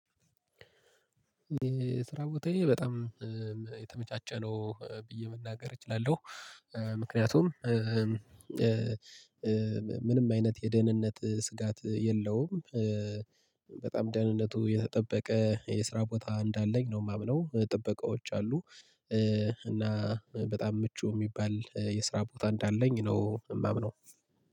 የስራ ቦታዬ በጣም የተመቻቸ ነው ብዬ መናገር እችላለሁ። ምክንያቱም ምንም አይነት የደህንነት ስጋት የለውም። በጣም ደህንነቱ የተጠበቀ የስራ ቦታ እንዳለኝ ነው የማምነው ጥበቃዎች አሉ። እና በጣም ምቹ የሚባል የስራ ቦታ እንዳለኝ ነው የማምነው